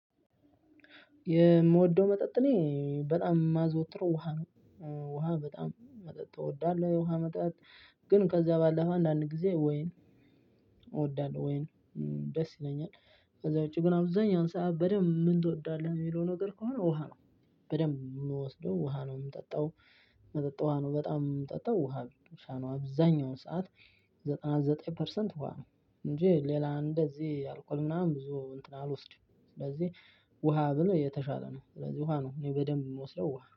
የምወደው መጠጥ እኔ በጣም የማዘወትረው ውሃ ነው ውሃ በጣም መጠጥ እወዳለሁ የውሃ መጠጥ። ግን ከዛ ባለፈ አንዳንድ ጊዜ ወይን እወዳለሁ ወይን። ደስ ይለኛል። ከዛ ውጭ ግን አብዛኛውን ሰዓት በደንብ ምን ትወዳለህ የሚለው ነገር ከሆነ ውሃ ነው። በደንብ የምወስደው ውሃ ነው እምጠጣው። መጠጥ ውሃ ነው በጣም የምጠጣው ውሃ ብቻ ነው አብዛኛውን ሰዓት። ዘጠና ዘጠኝ ፐርሰንት ውሃ ነው። እንጅ ሌላ እንደዚህ አልኮል ምናምን ብዙ እንትን አልወስድም። ውሃ ብል የተሻለ ነው። ስለዚህ ውሃ ነው በደንብ የምወስደው ውሃ ነው